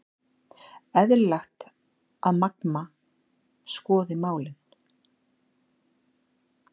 Eðlilegt að Magma skoði málin